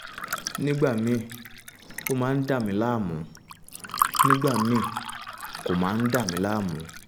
nígbà míì ó máa ń dà mí láàmú nígbà míì kò máa ń dà mí láàmú